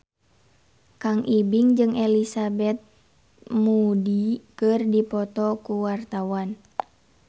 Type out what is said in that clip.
Kang Ibing jeung Elizabeth Moody keur dipoto ku wartawan